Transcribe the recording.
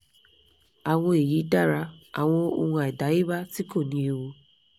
awon eyi dara awon ohun adayeba ti ko ni ewu